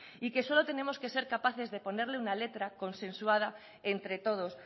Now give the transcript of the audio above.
y que solo tenemos que ser capaces de ponerle una letra consensuada entre todos